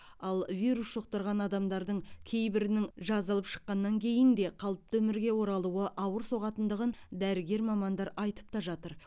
ал вирус жұқтырған адамдардың кейбірінің жазылып шыққаннан кейін де қалыпты өмірге оралуы ауыр соғатындығын дәрігер мамандар айтып та жатыр